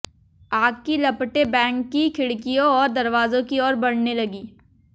आग की लपटें बैंक की खिड़कियाें और दरवाजों की ओर बढ़ने लगीं